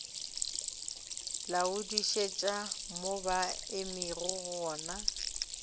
laodišetša mo ba emego gona